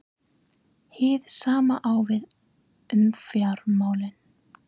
Hið sama á við um fjármálin.